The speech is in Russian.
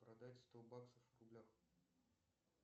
продать сто баксов в рублях